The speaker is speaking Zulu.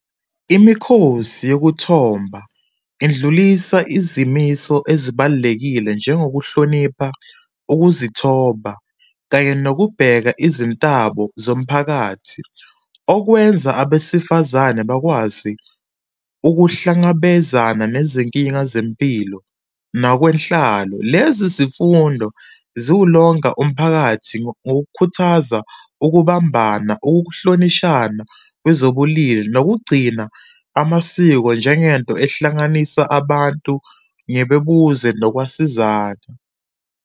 Imikhosi yokuthomba idlulisa izimiso ezibalulekile njengokuhlonipha ukuzithoba kanye nokubheka izintabo zomphakathi, okwenza abesifazane bakwazi ukuhlangabezana nezinkinga zempilo nakwenhlalo. Lezi zifundo ziwulonga umphakathi ngokukhuthaza ukubamba, ukuhlonishana kwezobulili nokugcina amasiko njengento ehlanganisa abantu ngebebuze nokwasizana.